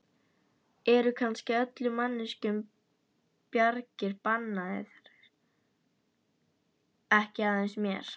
Eru kannski öllum manneskjum bjargir bannaðar, ekki aðeins mér?